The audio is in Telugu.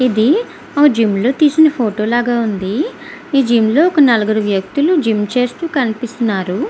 ఇది ఆ జిం లో తెసిన ఫోటో లాగా కనిపిస్తూ వునాది నలుగురు ఆ వ్యక్తులు జిం చేస్తునాటు కనిపిస్తునారు--